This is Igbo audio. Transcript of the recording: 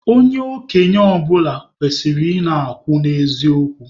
Onye okenye ọbụla kwesịrị ị na-akwụ n'eziokwu